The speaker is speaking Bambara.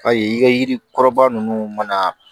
Ayi i ka yiri kɔrɔba ninnu mana